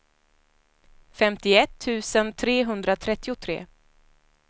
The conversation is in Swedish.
femtioett tusen trehundratrettiotre